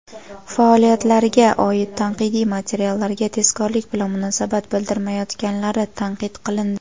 faoliyatlariga oid tanqidiy materiallarga tezkorlik bilan munosabat bildirmayotganlari tanqid qilindi.